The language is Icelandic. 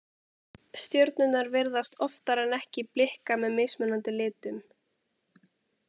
Stjörnurnar virðast oftar en ekki blikka með mismunandi litum.